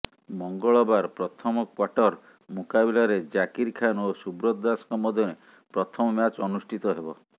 ମଙ୍ଗଳବାର ପ୍ରଥମ କ୍ବାର୍ଟର ମୁକାବିଲାରେ ଜାକିର ଖାନ୍ ଓ ସୁବ୍ରତ ଦାସଙ୍କ ମଧ୍ୟରେ ପ୍ରଥମ ମ୍ୟାଚ ଅନୁଷ୍ଠିତ ହେବ